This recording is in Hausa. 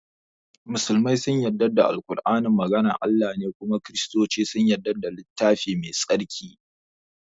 musulmai sun yadda da Al-kur'ani maganar Allah ne kuma kiristuce sun yadda da littafi mai tsarki